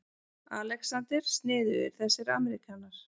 ALEXANDER: Sniðugir þessir ameríkanar.